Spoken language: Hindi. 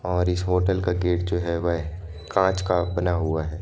और इस होटल का गेट जो है वहे कांच का बना हुआ है।